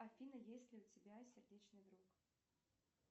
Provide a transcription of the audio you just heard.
афина есть ли у тебя сердечный друг